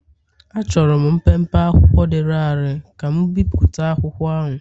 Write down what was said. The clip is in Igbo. Achọrọ m mpempe akwụkwọ dị larịị ka m bipụta akwụkwọ ahụ.